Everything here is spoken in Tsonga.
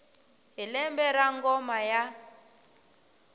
hi lembe ra ngoma ya